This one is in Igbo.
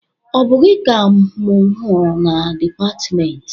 Ọ bụ gị ka mụ hụrụ na dịpatmentị?